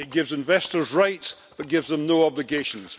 It gives investors rights but it gives them no obligations.